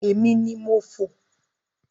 Èmi ni mo fò.